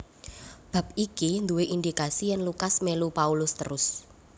Bab iki duwé indikasi yèn Lukas mélu Paulus terus